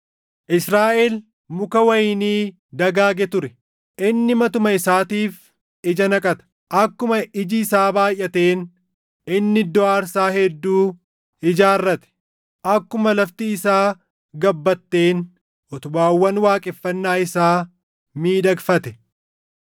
Israaʼel muka wayinii dagaage ture; inni matuma isaatiif ija naqata. Akkuma iji isaa baayʼateen inni iddoo aarsaa hedduu ijaarrate; akkuma lafti isaa gabbatteen utubaawwan waaqeffannaa isaa miidhagfate.